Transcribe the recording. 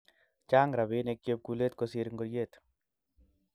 Chang rabinik chepkulet kosir ngoriet